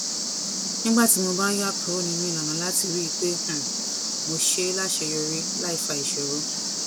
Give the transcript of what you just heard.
nígbà tí mo bá ń yà kúrò nínú ìlànà láti rí i pé um mo ṣe é láṣeyọrí láì fa ìṣòro